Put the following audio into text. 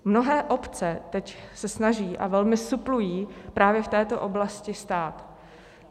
Mnohé obce se teď snaží a velmi suplují právě v této oblasti stát.